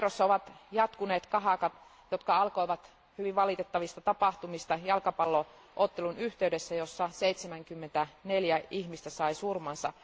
Kairossa ovat jatkuneet kahakat, jotka alkoivat hyvin valitettavista tapahtumista jalkapallo ottelun yhteydessä, jossa 74 ihmistä sai surmansa.